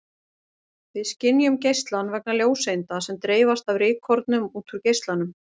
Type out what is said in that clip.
Við skynjum geislann vegna ljóseinda sem dreifast af rykkornum út úr geislanum.